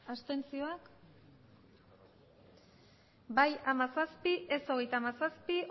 abstentzioak bai hamazazpi ez hogeita hamazazpi